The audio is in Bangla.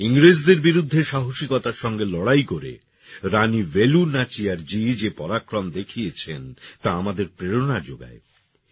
ইংরেজদের বিরুদ্ধে সাহসীকতার সঙ্গে লড়াই করে রানী বেলু নাচিয়ারজী যে পরাক্রম দেখিয়েছেন তা আমাদের প্রেরণা যোগায়